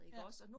Ja